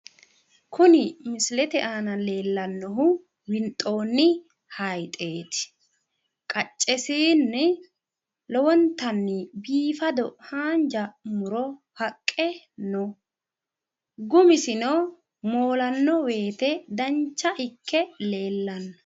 kuni misilete aan la'neemmohu winxoonni hayiixeeti qaccesiinni biifado haanja muro haqqe no gumisino moolanno wote dancha ikke leellanno.